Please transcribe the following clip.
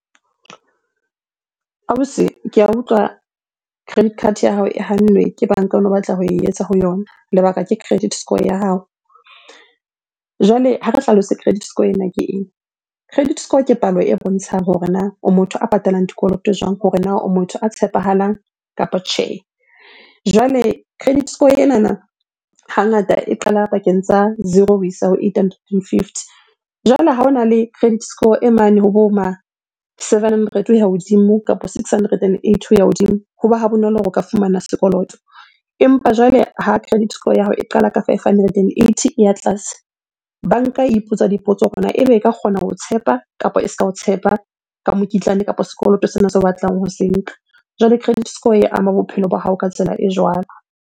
Ausi ke a utlwa credit card ya hao e hannwe ke banka ono batla ho e etsa ho yona, lebaka ke credit score ya hao. Jwale ha re hlalose credit score ena ke eng? Credit score ke palo e bontshang hore na o motho a patalang dikoloto jwang? Hore na o motho a tshepahalang kapo tjhe? Jwale credit score enana hangata e qala pakeng tsa zero ho isa ho eight hundred and fifty. Jwale ha ona le credit score e mane hobo ma seven hundred ho ya hodimo kapa six hundred and eighty ho ya hodimo, hoba ha bonolo hore o ka fumana sekoloto. Empa jwale ha credit score ya hao e qala ka five hundred and eighty e ya tlase, banka e ipotsa dipotso hore na ebe e ka kgona ho o tshepa kapa e se ka o tshepa ka mokitlane kapo sekoloto sena seo o batlang ho se nka? Jwale credit score e ama bophelo ba hao ka tsela e jwalo.